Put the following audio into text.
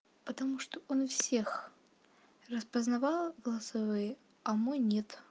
потому что он всех распознавал голосовые а мой нет